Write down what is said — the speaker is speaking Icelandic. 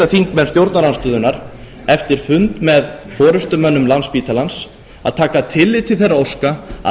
þingmenn stjórnarandstöðunnar eftir fund með forustumönnum landspítalans að taka tillit til þeirra óska að